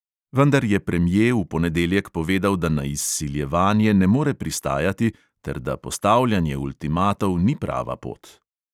Vendar je premje v ponedeljek povedal, da na izsiljevanje ne more pristajati ter da postavljanje ultimatov ni prava pot.